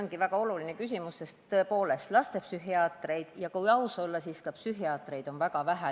See on väga oluline küsimus, sest tõepoolest on lastepsühhiaatreid ja, kui aus olla, ka tavalisi psühhiaatreid väga vähe.